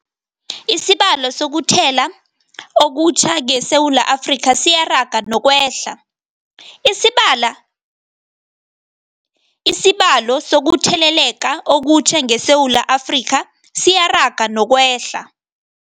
Isibalo sokuthele leka okutjha ngeSewula Afrika siyaraga nokwehla.